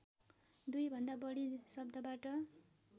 दुईभन्दा बढी शब्दबाट